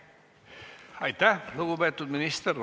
Aitäh, lugupeetud minister!